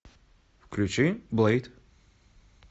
включи блэйд